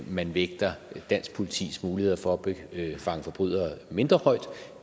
man vægter dansk politis muligheder for at fange forbrydere mindre højt